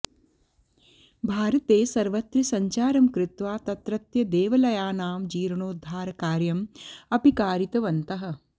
भारते सर्वत्र सञ्चारं कृत्वा तत्रत्य देवलयानां जीर्णोद्धारकार्यं अपि कारितवन्तः